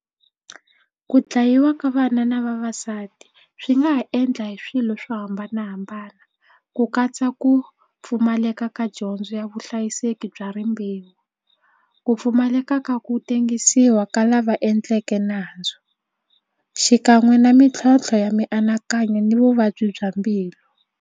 Ku dlayiwa ka vana na vavasati swi nga ha endla hi swilo swo hambanahambana ku katsa ku pfumaleka ka dyondzo ya vuhlayiseki bya rihanyo rimbewu ku pfumaleka ka ku tengisiwa ka lava endleke nandzu xikan'we na mintlhontlho ya mianakanyo ni vuvabyi bya mbilu.